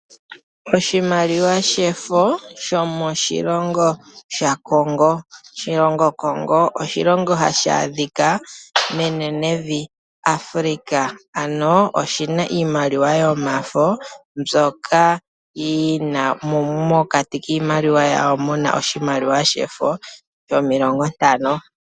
Oshimaliwa shefo shomoshilongo shaCongo, Congo oshilongo hashi adhika menenevi Africa ano oshina iimaliwa yomafo, moka mokati kawo muna oshimaliwa shefo shomilongo ntano.